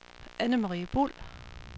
Annemarie Buhl